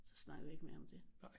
Så snakkede vi ikke mere om det